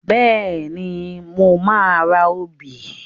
Bẹ́ẹ̀ni, mo máa ra obì.